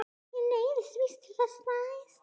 Ég neyðist víst til þess næst.